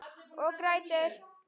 Og grætur.